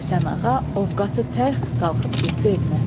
Həsənağa o vaxtı tərk qalxıb getdi evinə.